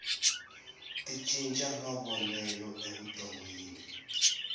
ti cinca mavonelo evutonwini